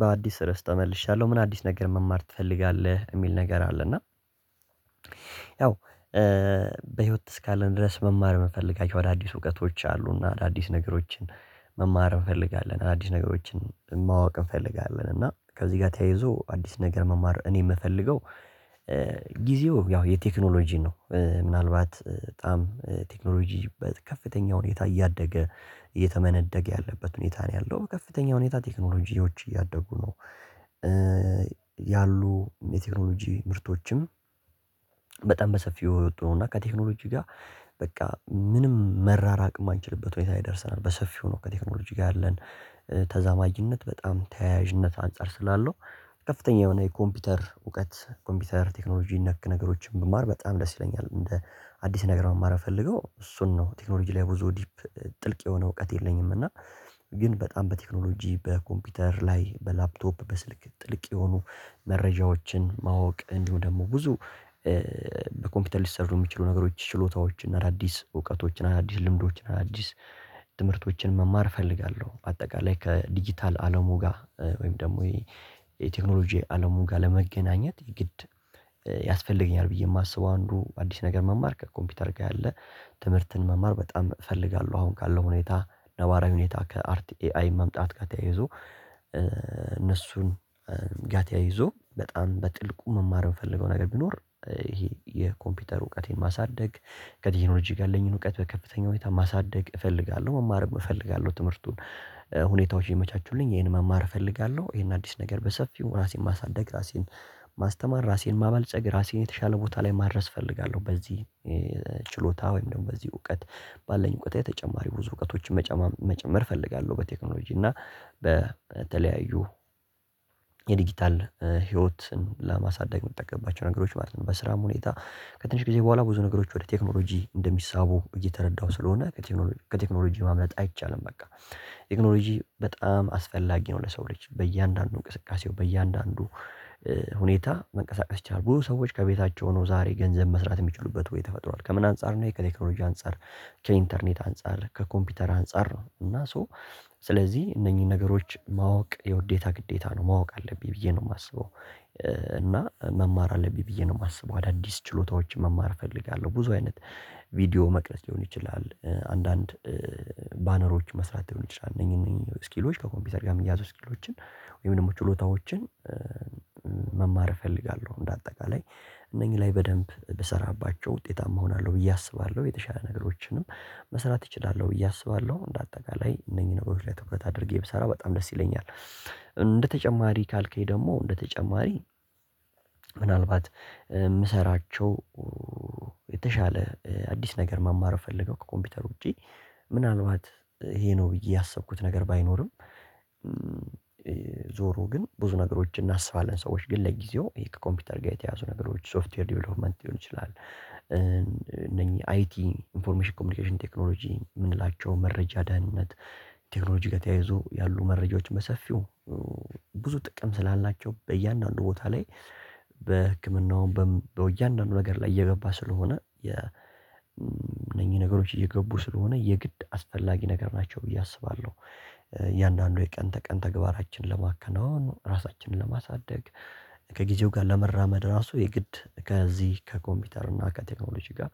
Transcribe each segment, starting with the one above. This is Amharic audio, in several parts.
በአዲስ ርዕስ ተመልሻለሁ። ምን አዲስ ነገር መማር ትፈልጋለህ የሚል ነገር አለ እና ያው በህይወት እስካለን ድረስ መማር የምንፈልጋቸው አዳዲስ እውቀቶች አሉና አዳዲስ ነገሮችን መማር እንፈልጋለን አዲስ ነገሮችን ማወቅ እንፈልጋለን እና ከዚህ ጋር ተያይዞ አዲስ ነገር መማር እኔ የምፈልገው ጊዜው ያው የቴክኖሎጂ ነው ምናልባት በጣም ቴክኖሎጂ በከፍተኛ ሁኔታ እያደገ እየተመነደገ ያለበት ሁኔታ ነው ያለው ከፍተኛ ሁኔታ ቴክኖሎጂዎች እያደጉ ነው ያሉ የቴክኖሎጂ ምርቶችም በጣም በሰፊው እየወጡ ነው እና ከቴክኖሎጂ ጋር በቃ ምንም መራራቅ የማንችልበት ሁኔታ ደርሰናል በሰፊው ነው ከቴክኖሎጂ ጋር ያለን ተዛማጅነት በጣም ተያያዥነት አንፃር ስላለው ከፍተኛ የሆነ የኮምፒውተር እውቀት ኮምፒውተር ቴክኖሎጂ ነክ ነገሮችን ብማር በጣም ደስ ይለኛል እንደ አዲስ ነገር መማር የምፈልገው እሱን ነው ቴክኖሎጂ ላይ ብዙ ዲፕ ጥልቅ የሆነ እውቀት የለኝም እና ግን በጣም በቴክኖሎጂ፣ በኮምፒውተር ላይ፣ በላፕቶፕ፣ በስልክ ጥልቅ የሆኑ መረጃዎችን ማወቅ እንዲሁ ደግሞ ብዙ በኮምፒውተር ሊሰሩ የሚችሉ ነገሮች ችሎታዎችን አዳዲስ እውቀቶችን አዳዲስ ልምዶችን አዳዲስ ትምህርቶችን መማር እፈልጋለሁ አጠቃላይ ከዲጂታል አለሙ ጋር ወይም ደግሞ የቴክኖሎጂ አለሙ ጋር ለመገናኘት ግድ ያስፈልገኛል ብዬ የማስበው አንዱ አዲስ ነገር መማር ከኮምፒውተር ጋር ያለ ትምህርትን መማር በጣም እፈልጋለሁ አሁን ካለው ሁኔታ ነባራዊ ሁኔታ ከአርቲ ኤ አይ መምጣት ጋር ተያይዞ እነሱን ጋር ተያይዞ በጣም በጥልቁ መማር የምፈልገው ነገር ቢኖር ይሄ የኮምፒውተር እውቀቴን ማሳደግ፣ ከቴክኖሎጂ ጋር ያለኝን እውቀት በከፍተኛ ሁኔታ ማሳደግ እፈልጋለሁ መማር እፈልጋለሁ ትምህርቱን ሁኔታዎች ይመቻቹልኝ ይሄን መማር እፈልጋለሁ ይሄን አዲስ ነገር በሰፊው ራሴን ማሳደግ ራሴን ማስተማር ራሴን ማበልጸግ ራሴን የተሻለ ቦታ ላይ ማድረስ እፈልጋለሁ በዚህ ችሎታ ወይም ደግሞ በዚህ እውቀት ባለን እውቀታዊ ተጨማሪ ብዙ እውቀቶችን መጨመር መጨመር እፈልጋለሁ በቴክኖሎጂ እና በተለያዩ የዲጂታል ህይወትን ለማሳደግ የምጠቀምባቸው ነገሮች ማለት ነው በስራም ሁኔታ ከትንሽ ጊዜ በኋላ ብዙ ነገሮች ወደ ቴክኖሎጂ እንደሚሳቡ እየተረዳሁ ስለሆነ ከቴክኖሎጂ ማምለጥ አይቻልም በቃ ቴክኖሎጂ በጣም አስፈላጊ ነው ለሰው ልጅ በእያንዳንዱ እንቅስቃሴው በእያንዳንዱ ሁኔታ መንቀሳቀስ ይቻላል ብዙ ሰዎች ከቤታቸው ሆነው ዛሬ ገንዘብ መስራት የሚችሉበት ዌይ ተፈጥሯል ከምን አንፃር ነው ከቴክኖሎጂ አንፃር፣ ከኢንተርኔት አንፃር፣ ከኮምፒውተር አንፃር ነው እና ሶ ስለዚህ እነኚህ ነገሮች ማወቅ የውዴታ ግዴታ ነው ማወቅ አለብኝ ብዬ ነው የማስበው እና መማር አለብኝ ብዬ ነው የማስበው አዳዲስ ችሎታዎችን መማር እፈልጋለሁ ብዙ አይነት ቪዲዮ መቅረጽ ሊሆን ይችላል አንዳንድ ባነሮች መስራት ሊሆን ይችላል እነኚ እነኚ ስኪሎች ከኮምፒውተር ጋር የሚያያዙ ስኪሎችን ወይም ደግሞ ችሎታዎችን መማር እፈልጋለሁ እንደ አጠቃላይ እነኚህ ላይ በደንብ ብሰራባቸው ውጤታማ እሆናለሁ ብዬ አስባለሁ የተሻለ ነገሮችንም መስራት እችላለሁ ብዬ አስባለሁ እንደ አጠቃላይ እነኚህ ነገሮች ላይ ትኩረት አድርጌ ብሰራ በጣም ደስ ይለኛል እንደ ካልከኝ ደግሞ እንደተጨማሪ ምናልባት የምሰራቸው የተሻለ አዲስ ነገር መማር ምፈልገው ከኮምፒውተር ውጪ ምናልባት ይሄ ነው ብዬ ያሰብኩት ነገር ባይኖርም ዞሮ ግን ብዙ ነገሮችን እናስባለን ሰዎች ግን ለጊዜው ይሄ ከኮምፒውተር ጋር የተያዙ ነገሮች ሶፍትዌር ዲቨሎፕመንት ሊሆን ይችላል እነኚህ አይቲ ኢንፎርሜሽን ኮሚኒኬሽን ቴክኖሎጂ የምንላቸው መረጃ ድህንነት ቴክኖሎጂ ተያይዞ ያሉ መረጃዎችን በሰፊው ብዙ ጥቅም ስላላቸው በእያንዳንዱ ቦታ ላይ በህክምናውም በእያንዳንዱ ነገር ላይ እየገባ ስለሆነ የእነኚህ ነገሮች እየገቡ ስለሆነ የግድ አስፈላጊ ነገር ናቸው ብዬ አስባለሁ እያንዳንዱ የቀን ተቀን ተግባራችንን ለማከናወን፣ ራሳችንን ለማሳደግ፣ ከጊዜው ጋር ለመራመድ፣ ራሱ የግድ ከዚህ ከኮምፒውተር እና ከቴክኖሎጂ ጋር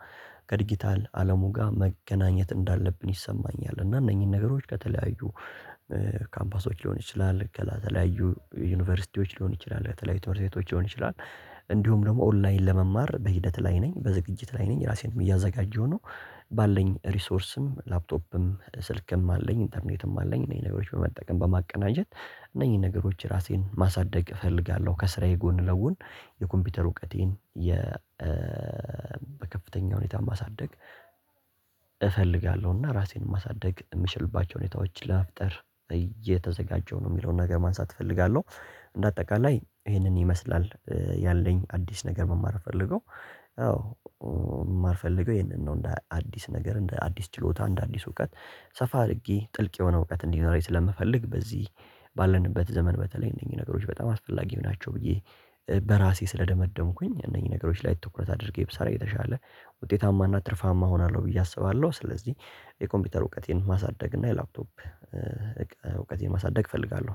ከዲጂታል አለሙ ጋር መገናኘት እንዳለብን ይሰማኛል እና እነኚህን ነገሮች ከተለያዩ ካምፓሶች ሊሆን ይችላል ከተለያዩ ዩኒቨርሲቲዎች ሊሆን ይችላል ከተለያዩ ትምህርት ቤቶች ሊሆን ይችላል እንዲሁም ደግሞ ኦንላይን ለመማር በሂደት ላይ ነኝ በዝግጅት ላይ ነኝ ራሴንም እያዘጋጀሁ ነው ባለኝ ሪሶርስም ላፕቶፕም ስልክም አለኝ ኢንተርኔትም አለኝ እነዚህን ነገሮች በመጠቀም በማቀናጀት እነኚህን ነገሮች ራሴን ማሳደግ እፈልጋለሁ ከስራዬ ጎን ለጎን የኮምፒውተር እውቀቴን የ በከፍተኛ ሁኔታ ማሳደግ እፈልጋለሁ እና ራሴን ማሳደግ የምችልባቸው ሁኔታዎች ለመፍጠር እየተዘጋጀው ነው የሚለውን ነገር ማንሳት እፈልጋለሁ እንደ አጠቃላይ ይሄንን ይመስላል ያለኝ አዲስ ነገር መማር እምፈልገው አዎ የማልፈልገው ይሄንን ነው እንደ አዲስ ነገር እንደ አዲስ ችሎታ እንደ አዲስ እውቀት ሰፋ አድርጌ ጥልቅ የሆነ እውቀት እንዲኖረኝ ስለምፈልግ በዚህ ባለንበት ዘመን በተለይ እነኚህ ነገሮች በጣም አስፈላጊ ናቸው ብዬ በራሴ ስለደመደምኩኝ እነዚህ ነገሮች ላይ ትኩረት አድርጌ ብሰራ እየተሻለ ውጤታማና ትርፋማ እሆናለሁ ብዬ አስባለሁ ስለዚህ የኮምፒውተር እውቀቴን ማሳደግ እና የላፕቶፕ እውቀቴን ማሳደግ እፈልጋለሁ